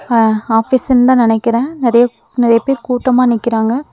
ஹ ஆஃபீஸ்ன்தா நெனைக்கறே நெறைய நெறையா பேர் கூட்டமா நிக்கறாங்க.